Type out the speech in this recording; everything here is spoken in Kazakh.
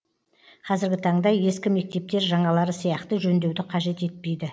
қазіргі таңда ескі мектептер жаңалары сияқты жөндеуді қажет етпейді